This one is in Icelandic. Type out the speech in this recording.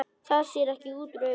Það sér ekki útúr augum.